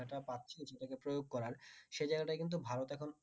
এটা পাচ্ছিস এটাকে প্রয়োগ করার সে জায়গায়টাই কিন্ত ভারত এখন